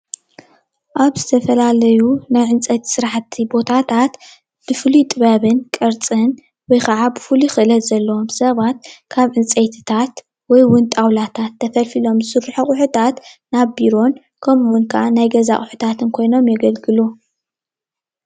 አብ ዝተፈላለዩ ናይዕንፅይቲ ስራሕቲ ቦታታት በፉሉይ ጥበብን ቅርፅን ወይ ከዓ ብፉሉይ ክእለተ ዘለዎም ስባት ካብ ዕንፅይትታት ወይ እውን ጣዉላታት ተፈሊፊሎም ዝስረሱሑ አቁሑታት ናብ ቢሮን ከምኡ እዉን ናይ ገዛ አቁሕታትን ኮይኖም የገልግሉ፡፡